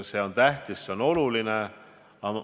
See on tähtis, see on oluline.